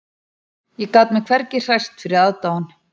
Ég gat mig hvergi hrært fyrir aðdáun